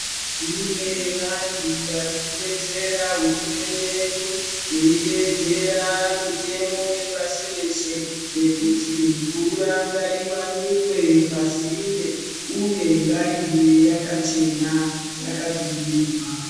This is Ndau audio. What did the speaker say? Kune vantu varikudetsera hurumende yedu veitedzera mitemo yepasi reshe yekuti mvura ngaiwanikwe pasinde uye ngaive yakachena yakadzivirirwa.